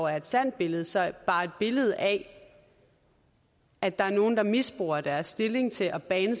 er et sandt billede så bare et billede af at der er nogle der misbruger deres stilling til at bane